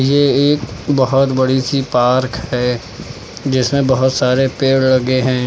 ये एक बहोत बड़ी सी पार्क है जिसमें बहोत सारे पेड़ लगे हैं।